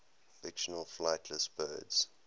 fictional flightless birds